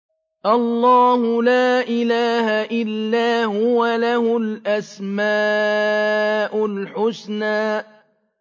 اللَّهُ لَا إِلَٰهَ إِلَّا هُوَ ۖ لَهُ الْأَسْمَاءُ الْحُسْنَىٰ